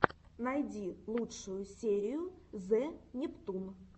найди лучшую серию зе нептун